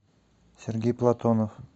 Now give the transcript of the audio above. сергей платонов